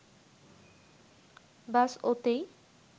ব্যস ওতেই